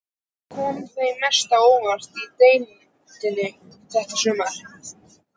Hvað kom þér mest á óvart í deildinni þetta sumarið?